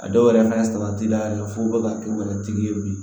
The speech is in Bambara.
A dɔw yɛrɛ fɛnɛ ye salati dan ye f'u be ka k'u yɛrɛ tigi ye bilen